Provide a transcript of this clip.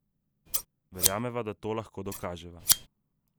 Verjameva, da to lahko dokaževa.